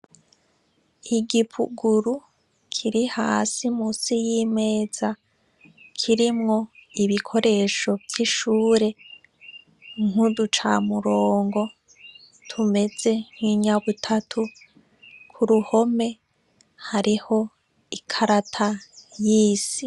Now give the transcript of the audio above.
Igipuguru kiri hasi munsi y'imeza kirimwo ibikoresho vy'ishuri nkuducamurongo tumeze nk'inyabutatu kuruhome hariho ikarata y'isi .